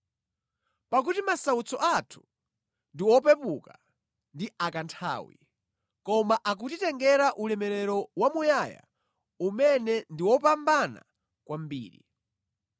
Pakuti masautso athu ndi opepuka ndi a kanthawi, koma akutitengera ulemerero wamuyaya umene ndi wopambana kwambiri.